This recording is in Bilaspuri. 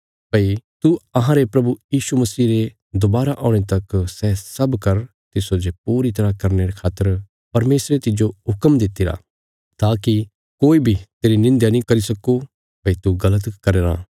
भई तू अहांरे प्रभु यीशु मसीह रे दोबारा औणे तक सै सब कर तिस्सो जे पूरी तरह करने खातर परमेशरे तिज्जो हुक्म दित्तिरा ताकि कोई बी तेरी निंध्या नीं करी सक्को भई तू गल़त करया राँ